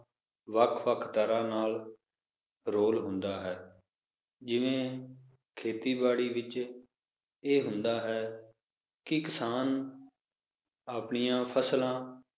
ਵੱਖ ਵੱਖ ਤਰਾਹ ਨਾਲ ਰੋਲ ਹੁੰਦਾ ਹੈ ਜਿਵੇ ਖੇਤੀ-ਬਾੜੀ ਵਿਚ ਇਹ ਹੁੰਦਾ ਹੈ ਕਿ ਕਿਸਾਨ ਆਪਣੀਆਂ ਫ਼ਸਲਾਂ